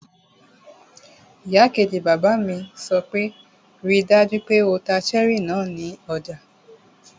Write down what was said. Ìyàwó kejì bàbá mi sọ pé 'ríi dájú pé o ta cherry náà ní ọjà!